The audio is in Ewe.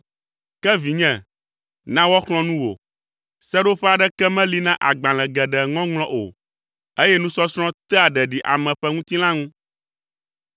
Ke vinye, na woaxlɔ̃ nu wò. Seɖoƒe aɖeke meli na agbalẽ geɖe ŋɔŋlɔ o eye nusɔsrɔ̃ tea ɖeɖi ame ƒe ŋutilã ŋu.